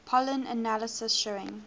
pollen analysis showing